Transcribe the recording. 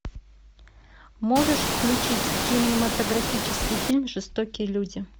можешь включить кинематографический фильм жестокие люди